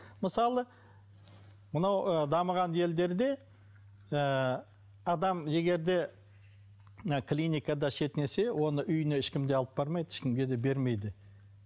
мысалы мынау ы дамыған елдерде ы адам егер де ы клиникада шетінесе оны үйіне ешкім де алып бармайды ешкімге де бермейді